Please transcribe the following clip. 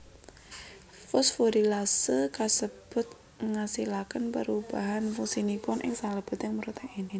Fosforilasé kasebut ngasilakén pérubahan fungsinipun ing salébéting protèin